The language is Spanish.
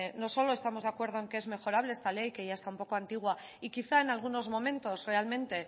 no solo estamos de acuerdo en que es mejorable esta ley que ya está un poco antigua y quizá en algunos momentos realmente